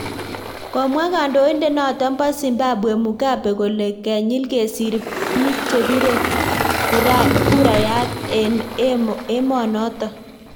Komwa kandoindet notok pa zimbwabwe Mugabe kole kenyil kesir biik che bire kurayat eng emonotok.